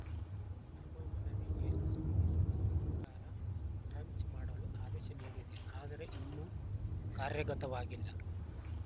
ನಮ್ಮ ಮನವಿಗೆ ಸ್ಪಂದಿಸಿದ ಸರ್ಕಾರ ಟ್ರಂಚ್‌ ಮಾಡಲು ಆದೇಶ ನೀಡಿದೆ ಆದರೆ ಇನ್ನೂ ಕಾರ್ಯಗತವಾಗಿಲ್ಲ